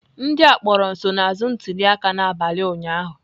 Ndị a kpọrọ nsonaazụ ntuliaka n'abalị ụnyahụ.